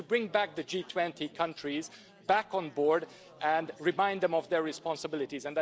It has to bring the G20 countries back on board and remind them of their responsibilities.